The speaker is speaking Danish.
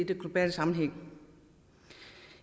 sammenhæng